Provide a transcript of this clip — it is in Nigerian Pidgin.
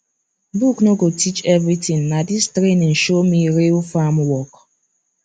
book no go teach everything na this training show me real farm work